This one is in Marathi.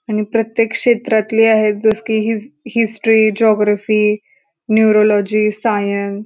आणि प्रत्येक क्षेत्रातली आहे जस की हि हिस्टरी जेऑग्राफी नेॉरोलॉजी सायन्स --